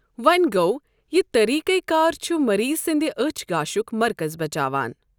وۄنٛہِ گو، یہِ طٔریٖقہِ کار چُھ مٔریٖض سندِ أچھ گاشٗك مركز بچاوان ۔